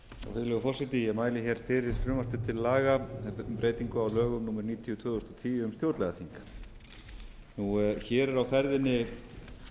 virðulegur forseti ég mæli fyrir frumvarpi til laga um breytingu á lögum númer níutíu tvö þúsund og tíu um stjórnlagaþing hér er á ferðinni